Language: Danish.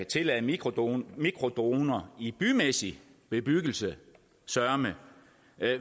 tillade mikrodroner mikrodroner i bymæssig bebyggelse søreme